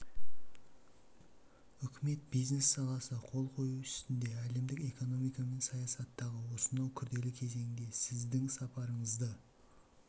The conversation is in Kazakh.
үкімет бизнес саласы қол қою үстінде әлемдік экономика мен саясаттағы осынау күрделі кезеңде сіздің сапарыңызды